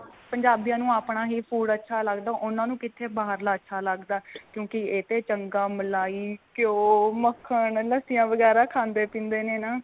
ਪੰਜਾਬੀਆਂ ਨੂੰ ਆਪਣਾ ਹੀ food ਅੱਛਾ ਲੱਗਦਾ ਉਨ੍ਹਾਂ ਨੂੰ ਕਿੱਥੇ ਬਾਹਰਲਾ ਅੱਛਾ ਲੱਗਦਾ ਕਿਉਂਕਿ ਏ ਤੇ ਚੰਗਾ ਮਲਾਈ ਘਿਓ ਮੱਖਣ ਲੱਸੀਆਂ ਵਗੈਰਾ ਖਾਂਦੇ ਪੀਂਦੇ ਨੇ ਨਾ.